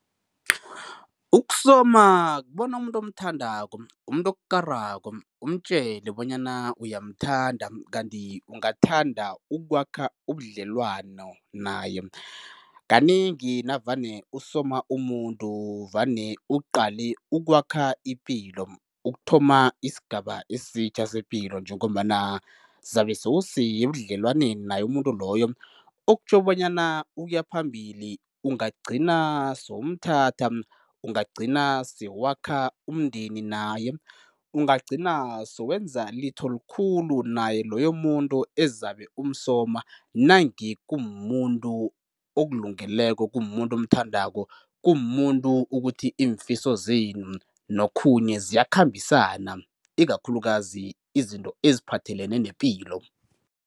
Ukusoma kubona umuntu omthandako, umuntu okukarako, umtjele bonyana uyamthanda kanti ungathanda ukwakha ubudlelwano naye. Kanengi navane usoma umuntu vane uqale ukwakha ipilo, ukuthoma isigaba esitjha sepilo njengombana zabe sewusebudlelwaneni naye umuntu loyo, okutjho bonyana ukuya phambili, ungagcina sewumthatha, ungagcina sewakha umndeni naye, ungagcina sewenza litho likhulu naye loyo muntu ezabe umsoma, nange kumumuntu okulungeleko, kumumuntu omthandako, kumumuntu ukuthi imfiso zenu nokhunye ziyakhambisana ikakhulukazi izinto eziphathelene nepilo.